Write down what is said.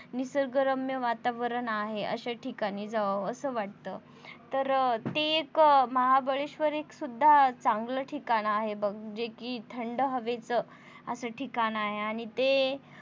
निसर्गरम्य वातावरण आहे अश्या ठिकाणी जावं असं वाटत, तर ते एक महाबळेश्वर एक सुद्धा चांगलं ठिकाण आहे बघ जे कि थंड हवेच ठिकाण आहे. आणि ते